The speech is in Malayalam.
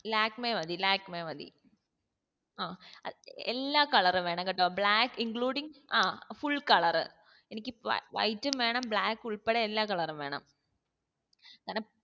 ലാക്മെ മതി ലാക്മെ മതി ആഹ് എല്ലാ colour ഉം വേണം കേട്ടോ black including ആ full colour എനിക്ക് white ഉം വേണം black ഉൾപ്പെടെ എല്ലാ colour ഉം വേണം